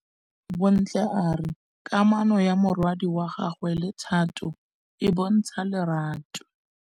Bontle a re kamanô ya morwadi wa gagwe le Thato e bontsha lerato.